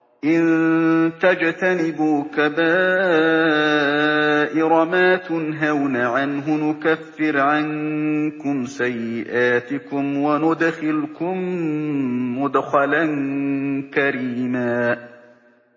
إِن تَجْتَنِبُوا كَبَائِرَ مَا تُنْهَوْنَ عَنْهُ نُكَفِّرْ عَنكُمْ سَيِّئَاتِكُمْ وَنُدْخِلْكُم مُّدْخَلًا كَرِيمًا